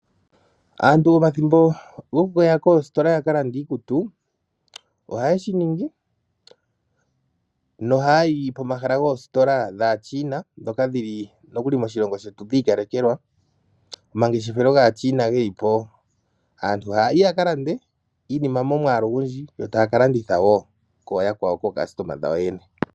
Aantu pomathimbo gokuya koositola yaka lande iikutu, ohaye shi ningi, noha ya yi pomahala goositola dhaaChina, ndhoka dhi li nokuli moshilongo shetu dhiikalekelwa, omangeshefelo gaaChina ge li po, aantu haya yi yaka lande iinima momwaalu ogundji, yo taya ka landitha wo kooyakwawo kookastoma yawo yene.